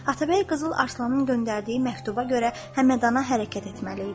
Atabəy Qızıl Arslanın göndərdiyi məktuba görə Həmədana hərəkət etməli idi.